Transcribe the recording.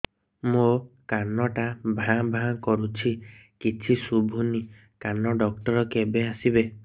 ମୋ କାନ ଟା ଭାଁ ଭାଁ କରୁଛି କିଛି ଶୁଭୁନି କାନ ଡକ୍ଟର କେବେ ଆସିବେ